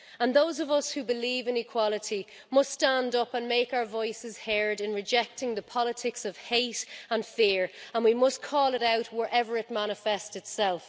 Those of us who believe in equality must stand up and make our voices heard in rejecting the politics of hate and fear, and we must call it out wherever it manifest itself.